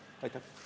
Aitäh!